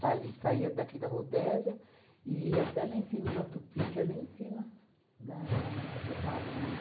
saia daqui da Rodésia e ia até lá em cima, na Tupi, que é lá em cima, da... você sabe, né? Na